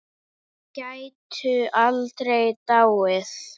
Gætu aldrei dáið.